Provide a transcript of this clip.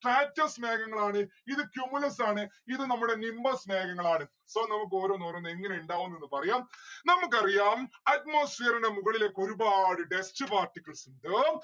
stratus മേഘങ്ങളാണ്. ഇത് cumulus ആണ്. ഇത് നമ്മുടെ nimbus മേഘങ്ങളാണ്. so നമ്മുക്ക് ഓരോന്ന് ഓരോന്ന് എങ്ങനെ ഇണ്ടാവും ന്ന്‌ ഒന്ന് പറയാം. നമുക്കറിയാം atmosphere ന്റെ മുകളിലേക്ക് ഒരുപാട് dust particles ഇണ്ട്